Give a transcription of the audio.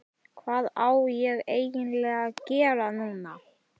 Hvað á ég eiginlega að gera núna???